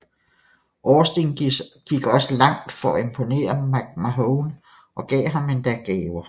Austin gik også langt for at imponere McMahon og gav ham endda gaver